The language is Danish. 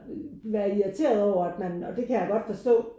Være irriteret over at man og det kan jeg godt forstå